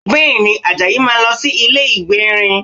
Bẹ́ẹ̀ni, Àjàyí máa lọ sí ilé ìgbérin